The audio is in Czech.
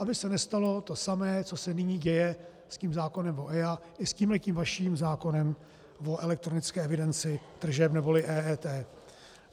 Aby se nestalo to samé, co se nyní děje s tím zákonem o EIA i s tímto vaším zákonem o elektronické evidenci tržeb neboli EET.